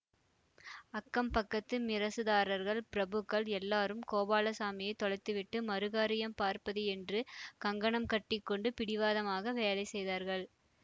அக்கம் பக்கத்து மிரசுதார்கள் பிரபுக்கள் எல்லாரும் கோபாலசாமியைத் தொலைத்துவிட்டு மறுகாரியம் பார்ப்பது என்று கங்கணம் கட்டி கொண்டு பிடிவாதமாக வேலை செய்தார்கள்